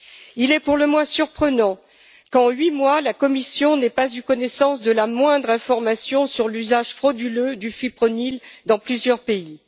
Il est pour le moins surprenant qu'en huit mois la Commission n'ait pas eu connaissance de la moindre information sur l'usage frauduleux du fipronil dans plusieurs pays.